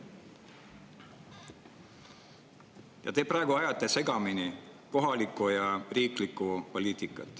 Te ajate praegu segamini kohaliku ja riikliku poliitika.